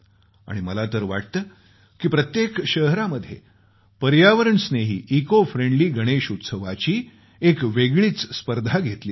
आणि मला तर वाटतं की प्रत्येक शहरामध्ये पर्यावरण स्नेही इको फ्रेंडली गणेश उत्सवाची एक वेगळीच स्पर्धा घेतली जावी